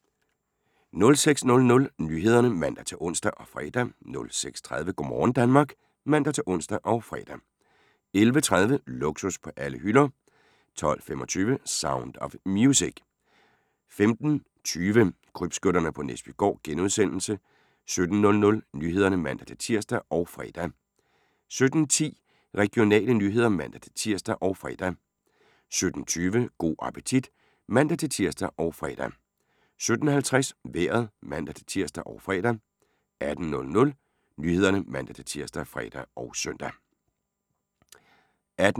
06:00: Nyhederne (man-ons og fre) 06:30: Go' morgen Danmark (man-ons og fre) 11:30: Luksus på alle hylder 12:25: Sound of Music 15:20: Krybskytterne på Næsbygård * 17:00: Nyhederne (man-tir og fre) 17:10: Regionale nyheder (man-tir og fre) 17:20: Go' appetit (man-tir og fre) 17:50: Vejret (man-tir og fre) 18:00: Nyhederne ( man-tir, fre, -søn)